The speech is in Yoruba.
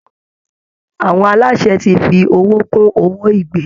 Àwọn aláṣẹ ti fi owó kún owó ìgbé